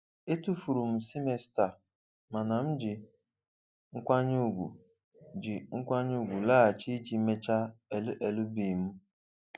Etufuru m semester mana m ji nkwanye ugwu ji nkwanye ugwu laghachi iji mechaa LL.B m.